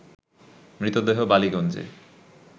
মৃতদেহ বালিগঞ্জে